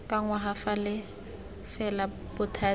ka ngwaga fa fela bothati